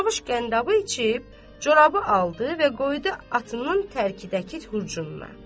Cavuş qəndabı içib, corabı aldı və qoydu atının tərkidəki hurcununa.